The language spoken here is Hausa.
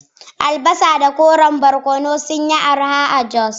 Albasa da koren barkono sun yi arha a Jos